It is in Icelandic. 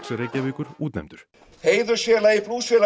Reykjavíkur útnefndur heiðursfélagi